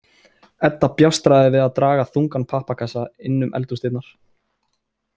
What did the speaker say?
Edda bjástraði við að draga þungan pappakassa inn um eldhúsdyrnar.